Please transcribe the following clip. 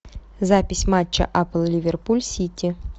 запись матча апл ливерпуль сити